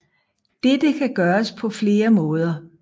Dette kan gøres på flere måder